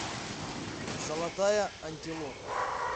золотая антилопа